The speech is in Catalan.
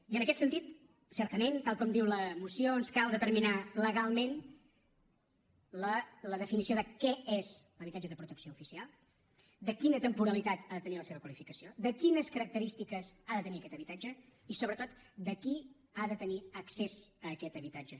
i en aquest sentit certament tal com diu la moció ens cal determinar legalment la definició de què és l’habitatge de protecció oficial de quina temporalitat ha de tenir la seva qualificació de quines característiques ha de tenir aquest habitatge i sobretot de qui ha de tenir accés a aquest habitatge